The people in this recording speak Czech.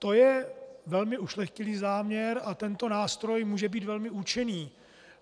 To je velmi ušlechtilý záměr a tento nástroj může být velmi účinný.